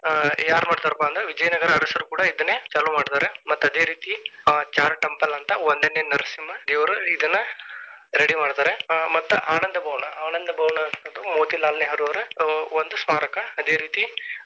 ಯಾರ್ ಮಾಡ್ತಾರಪ್ಪ ಅಂದ್ರ ವಿಜಯನಗರ ಅರಸರ ಕೂಡ ಇದನ್ನೇ ಚಾಲು ಮಾಡ್ತಾರಾ. ಮತ್ತ ಅದೇ ರೀತಿ ಚಾರು temple ಅಂತ ಒಂದನೇ ನರಸಿಂಹ ಇವರು ಇದನ್ನಾ ready ಮಾಡ್ತಾರೆ ಮತ್ತ ಆನಂದ ಭವನ ಆನಂದ ಭವನ ಅನ್ನುವಂತದ್ದು ಮೋತಿಲಾಲ್ ನೆಹರು ಅವರ ಒಂದು ಸ್ಮಾರಕ ಅದೇರೀತಿ.